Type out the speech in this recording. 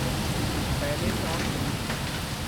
पैलस on wheels